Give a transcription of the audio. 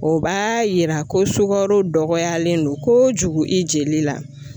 O b'a yira ko sukaro dɔgɔyalen don kojugu i jeli la.